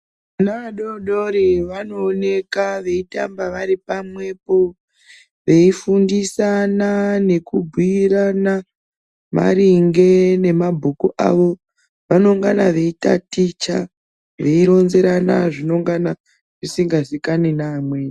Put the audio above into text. Vana vadoodori vanooneka veitamba varipamwepo veifundisana nekubhuirana maringe nemabhuku avo vanongana veitaticha veironzerana zvinenga zvisinga zikanwi neamweni.